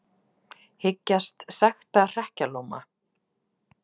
Hyggjast sekta hrekkjalóma